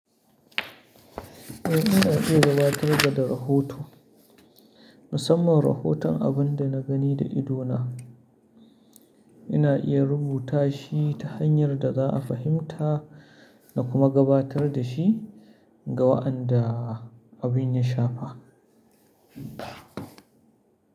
Eh, ina iya gabatar da rahoto. Musamman rahoton abin da na gani da ido na, ina iya rubuta shi ta hanyar da za a fahimta na kuma gabatar da shi ga waɗanda abin ya shafa.